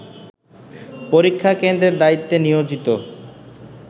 পরীক্ষা কেন্দ্রের দায়িত্বে নিয়োজিত